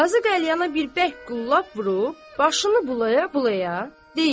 Qazı qəlyana bir bərk qullap vurub başını bulaya-bulaya deyir: